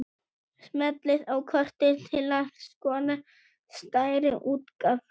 Smellið á kortið til að skoða stærri útgáfu.